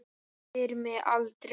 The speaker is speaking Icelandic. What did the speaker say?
Spyr mig aldrei.